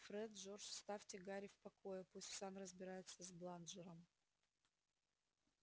фред джордж оставьте гарри в покое пусть сам разбирается с бладжером